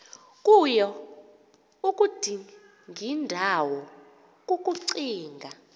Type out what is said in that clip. kuyo udingindawo kukucinga